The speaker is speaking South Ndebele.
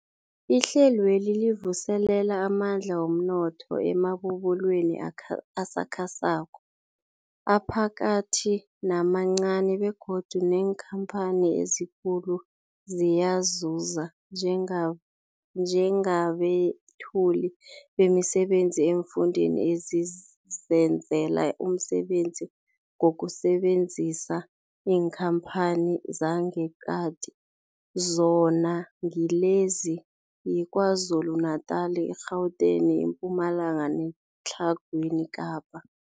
Ihlelweli livuselela amandla womnotho emabubulweni asakhasako, aphakathi namancani begodu neenkhamphani ezikulu ziyazuza njengabethuli bemisebenzi eemfundeni ezizenzela umsebenzi ngokusebenzisa iinkhamphani zangeqadi, zona ngilezi, yiKwaZulu Natala, i-Gauteng, iMpumalanga neTlhagwini Kapa.